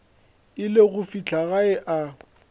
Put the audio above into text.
ile go fihla gae a